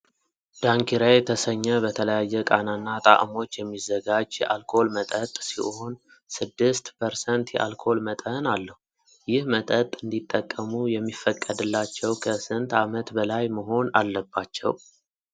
ዳንኪራ የተሰኘህ በተለያዩ ቃናና ጣእሞች የሚዘጋጅ የአልኮል መጠጥ ሲሆን ስድስት 6% የአልኮል መጠን አለው። ይህ መጠጥ እንዲጠቀሙ የሚፈቀድላቸው ከስንት ዓመት በላይ መሆን አለባቸው?